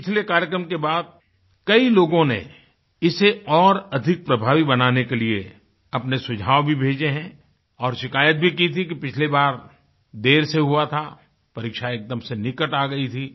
पिछले कार्यक्रम के बाद कई लोगों ने इसे और अधिक प्रभावी बनाने के लिए अपने सुझाव भी भेजे हैं और शिकायत भी की थी कि पिछली बार देर से हुआ था परीक्षा एकदम से निकट आ गई थी